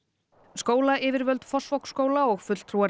skólayfirvöld Fossvogsskóla og fulltrúar